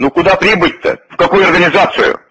ну куда прибыть-то в какую организацию